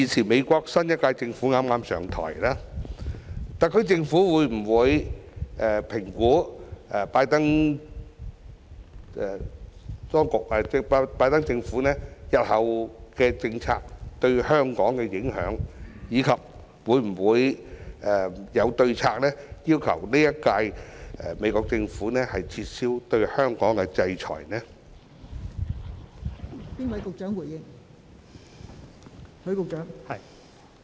美國新一屆政府剛剛上台，特區政府會否評估拜登政府日後的政策對香港的影響，以及有否制訂對策要求美國新一屆政府撤銷對香港的制裁？